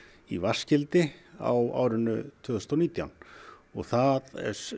í vatnsgildi á árinu tvö þúsund og nítján og það